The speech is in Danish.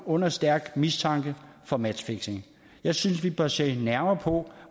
under stærk mistanke for matchfixing jeg synes vi bør se nærmere på